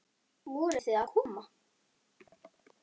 Voruð þið að koma?